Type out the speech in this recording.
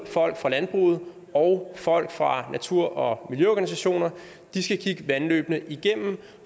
folk fra landbruget og folk fra natur og miljøorganisationerne skal kigge vandløbene igennem